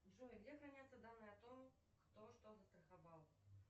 джой где хранятся данные о том кто что застраховал